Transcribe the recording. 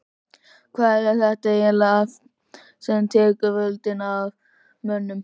Hvað er þetta ægilega afl sem tekur völdin af mönnum?